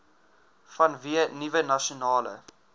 vanweë nuwe nasionale